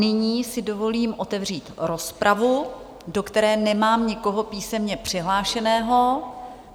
Nyní si dovolím otevřít rozpravu, do které nemám nikoho písemně přihlášeného.